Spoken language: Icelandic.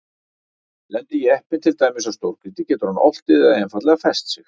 Lendi jeppinn til dæmis á stórgrýti getur hann oltið eða einfaldlega fest sig.